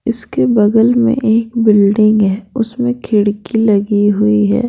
इसके बगल में एक बिल्डिंग है उसमें खिड़की लगी हुई है।